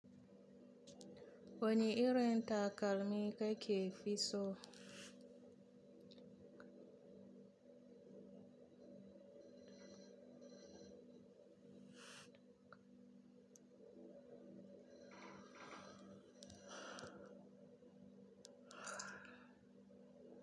Wani irin takalmi kake fi so?